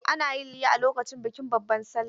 Ana yin layya a lokacin bikin babban sallah.